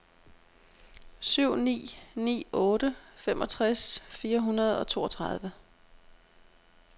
syv ni ni otte femogtres fire hundrede og toogtredive